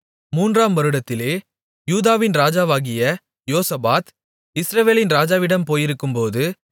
மூன்றாம் வருடத்திலே யூதாவின் ராஜாவாகிய யோசபாத் இஸ்ரவேலின் ராஜாவிடம் போயிருக்கும்போது